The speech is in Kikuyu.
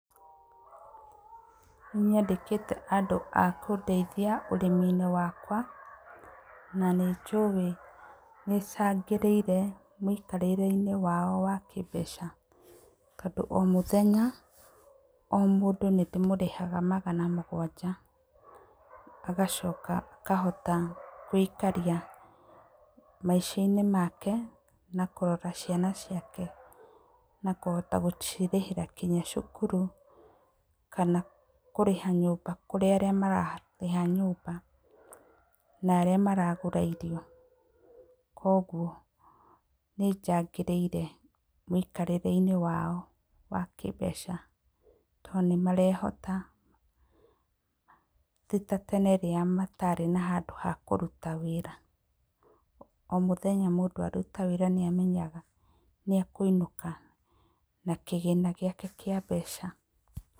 Nĩ nyandĩkĩte andũ a kũndeithia ũrĩmi-inĩ wakwa na nĩ njũĩ nĩ cangĩrĩire mũikarĩre wao wa kĩ mbeca, tondũ o mũthenya o mũndũ nĩ ndĩrĩmũrĩhaga magana mũgwanja, agacoka akahota kwĩikaria maicainĩ make na kũrora ciana ciake na kũhota gũcirĩhĩra nginya cukuru kana kũrĩha nyũmba kũrĩ arĩa mararĩha nyũmba na arĩa maragũra irio, kwoguo nĩ njangĩire mũno mũtũrĩreinĩ wao wa kĩ mbeca tondũ nĩ marehota, ti ta tene rĩrĩa matarĩ na handũ ha kũruta wĩra, o mũthenya mũndũ rĩrĩa akũruta wĩra nĩ amenyaga nĩ akũinũka na kĩgĩna gĩake kĩa mbeca.